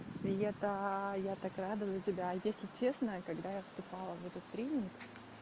и это я так рада за тебя если честно когда я вступала в этот тренинг